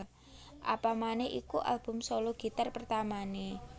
Apamaneh iku album solo gitar pertamané